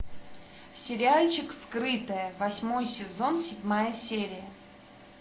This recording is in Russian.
сериальчик скрытое восьмой сезон седьмая серия